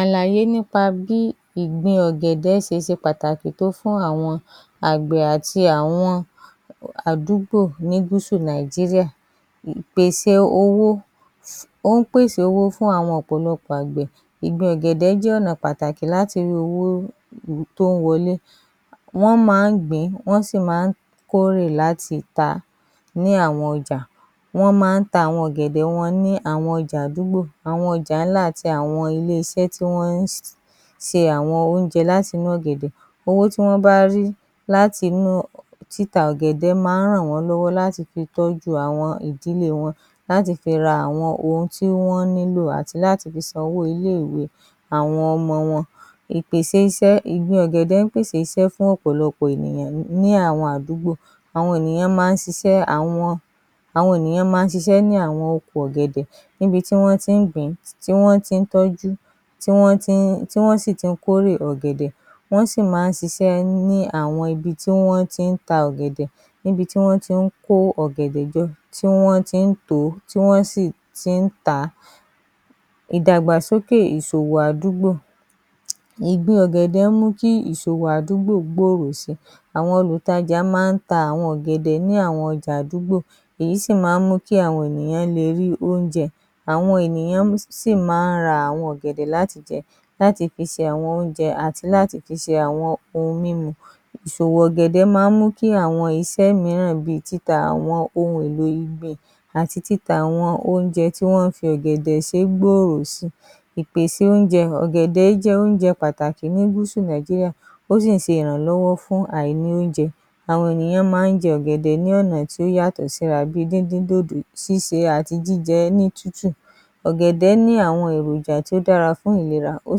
Àlàyé nípa bí ìgbin ọ̀gẹ̀dẹ̀ ṣe ṣe pàtàkì fún àwọn àgbẹ̀ àti àdúgbò ní Gúsù Nàìjíríà, ìpèsè owó óhún pèsè owó fún àwọn ọ̀pọ̀lọpọ̀ àgbẹ̀ ìgbin ọ̀gẹ̀dẹ̀ jẹ́ ọ̀nà láti rí owó tó ń wọlé, wọ́n máa ń gbìn ín wọ́n sì máa ń kórè láti ta á ní àwọn ọjà, wọ́n máa ń tà á ní àwọn ọjà àdúgbò, wọ́n máa ń tà á ní àwọn ọjà ńlá àti ilé iṣẹ́ tí wọ́n ń ṣe àwọn oúnjẹ láti inú ọ̀gẹ̀dẹ̀, àwọn owó tí wọ́n bá rí láti inú títa ọ̀gẹ̀dẹ̀ máa ń ràn wọ́n lọ́wọ́ láti fi tọ́jú àwọn ìdílé wọn láti fi ra ohun tí wọ́n nílò àti láti fi san owó ilé ìwé àwọn ọmọ wọn, ìpèsè iṣẹ́; ọ̀gẹ̀dẹ̀ máa ń pèsè iṣẹ́ fún àwọn àdúgbò, àwọn ènìyàn máa ń ṣisẹ́ ní àwọn oko ọ̀gẹ̀dẹ̀, ní ibi tí wọ́n ti ń gbìn ín, ibi tí wọ́n ti ń tọ́jú tí wọ́n sì ti ń kórè ọ̀gẹ̀dẹ̀ tí wọ́n sì máa ń ṣisẹ́ ní àwọn ibi tí wọ́n ti ń kórè ọ̀gẹ̀dẹ̀ níbi tí wọ́n ti ń kó ọ̀gẹ̀dẹ̀ jọ tí wọ́n ti ń tò ó tí wọ́n sì ti ń tà á, ìdàgbàsókè ìsòwò àdúgbò; ìgbin ọ̀gẹ̀dẹ̀ máa ń mú kí ìsòwò àdúgbò gbòòrò sí I àwọn olùtajà máa ń ta ọjà ní àwọn àdúgbò èyí sì máa ń mú kí àwọn ènìyàn le rí oúnjẹ jẹ, àwọn ènìyàn sì máa ń ra ọ̀gẹ̀dẹ̀ láti jẹ àti láti fi ṣe oúnjẹ àti láti fi ṣe ohun mímu, ìsowo ọ̀gẹ̀dẹ̀ máa ń mú kí àwọn iṣẹ́ mìíràn bíi títa àwọn ohun èlò ìgbìn àti títa àwọn oúnjẹ tí wọ́n fi ọ̀gẹ̀dẹ̀ ṣe gbòòrò sí i. Ìpèsè oúnjẹ ;ọ̀gẹ̀dẹ̀ jẹ́ oúnjẹ pàtàkì ní gúúsù Nàìjíríà, ó sì ń ṣe ìrànlọ́wọ́ fún àìnì oúnjẹ, àwọn ènìyàn máa ń jẹ ọ̀gẹ̀dẹ̀ lọ́nà tó yàtọ̀ síra bíi díndín dodo, ṣíse àti jíjẹ ní tútù, ọ̀gẹ̀dẹ̀ ní àwọn èròjà tó dára fún ìlera ó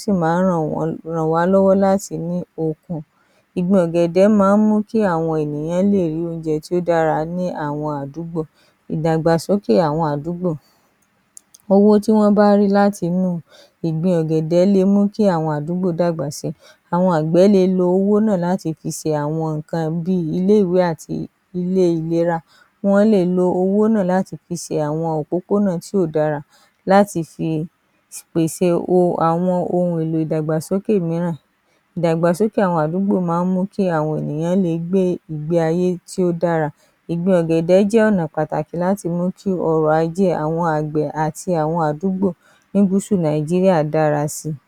sì máa ń ràn wá lọ́wọ́ láti ní okun, ìgbin ọ̀gẹ̀dẹ̀ máa ń mú kí àwọn ènìyàn lè rí oúnjẹ tó dára ní àwọn àdúgbò, ìdàgbàsókè àwọn àdúgbò, owó tí wọ́n bá rí láti inú ìgbin ọ̀gẹ̀dẹ̀ dàgbà sí i, àwọn àgbẹ̀ le lo owó náà láti fi ṣe àwọn nǹkan bíi ilé ìwé àti ilé ìlera, wọ́n le lo owó náà láti fi ṣe àwọn òpópónà tí kò dára láti fi pèsè àwọn ohun èlò ìdàgbàsókè mìíràn, ìdàgbàsókè àwọn àdúgbò máa ń mú kí àwọn ènìyàn le gbé ìgbé ayé tó dára, ìgbin ọ̀gẹ̀dẹ̀ jẹ́ ọ̀nà pàtàkì láti mú kí ọrọ̀ ajé àwọn àgbẹ̀ àti àwọn àdúgbò ní Gúsù Nàìjíríà dára sí i